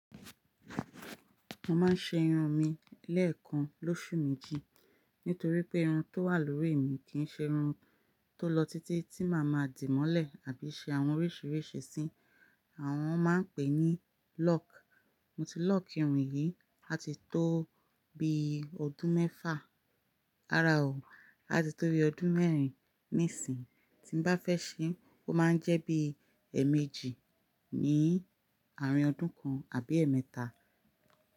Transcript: Mo máa ń ṣe irun mi lẹ́ẹ̀kan lóṣù méjì. Nítorí pé irun tó wà lórí mi kì í ṣe irun tó lọ títí tí màá ma dì mọ́lẹ̀ àbí ṣe àwọn oríṣìíríṣìí sí. Àwọn máa ń pè é ní lock. Mo ti lock irun yìí ati tó bi ọdún mẹ́fà. Rárá o, áti tó bi ọdún mẹ́rin níìsín. Tí n bá fẹ́ ṣe, ó máa ń jẹ́ bí ẹ̀ẹ̀mejì ní àárín ọdún kan àbí ẹ̀ẹ̀mẹ́ta.